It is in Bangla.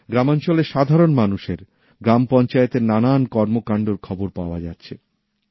গ্রামাঞ্চলের সাধারণ মানুষের গ্রাম পঞ্চায়েতের নানান কর্মকাণ্ডর খবর পাওয়া যাচ্ছে